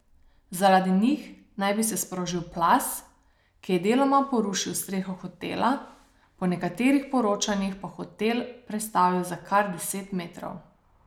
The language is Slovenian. Zaradi njih naj bi se sprožil plaz, ki je deloma porušil streho hotela, po nekaterih poročanjih pa hotel prestavil za kar deset metrov.